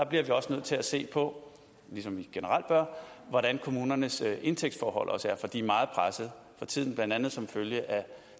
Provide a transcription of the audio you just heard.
bliver vi også nødt til at se på ligesom vi generelt gør hvordan kommunernes indtægtsforhold er for de er meget pressede for tiden blandt andet som følge af